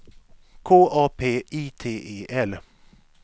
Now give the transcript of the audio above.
K A P I T E L